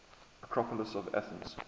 acropolis of athens